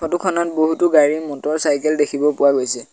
Photo খনত বহুতো গাড়ী মটৰচাইকেল দেখিব পোৱা গৈছে।